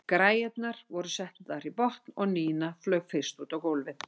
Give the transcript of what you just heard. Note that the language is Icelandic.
Græjurnar voru settar í botn og Nína flaug fyrst út á gólfið.